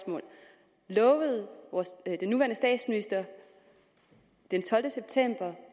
jeg lovede den nuværende statsminister den tolvte september